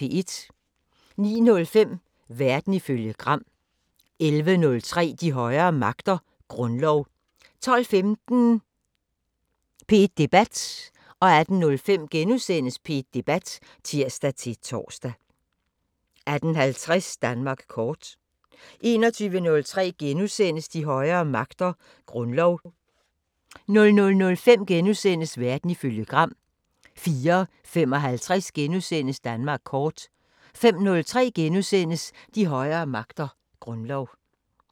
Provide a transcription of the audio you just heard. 09:05: Verden ifølge Gram 11:03: De højere magter: Grundlov 12:15: P1 Debat (tir-tor) 18:05: P1 Debat *(tir-tor) 18:50: Danmark kort 21:03: De højere magter: Grundlov * 00:05: Verden ifølge Gram * 04:55: Danmark kort * 05:03: De højere magter: Grundlov *